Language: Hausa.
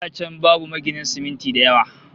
Da can babu maginan siminti da yawa